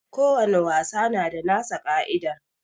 Ko wani wasa na da nasa ka'idar